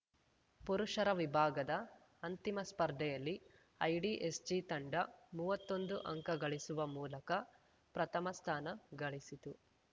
ಪುರುಷರ ವಿಭಾಗದ ಅಂತಿಮ ಸ್ಪರ್ಧೆಯಲ್ಲಿ ಐಡಿಎಸ್‌ಜಿ ತಂಡ ಮುವ್ವತ್ತೊಂದು ಅಂಕ ಗಳಿಸುವ ಮೂಲಕ ಪ್ರಥಮ ಸ್ಥಾನ ಗಳಿಸಿತು